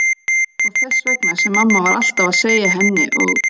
Og þess vegna sem mamma var alltaf að segja henni og